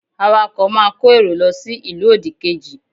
Awakọ̀ máa kó èrò lọ sí ìlú òdì kejì